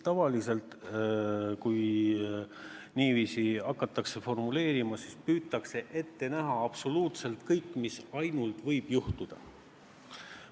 Tavaliselt, kui niiviisi hakatakse formuleerima, siis püütakse ette näha absoluutselt kõik, mis võib ette tulla.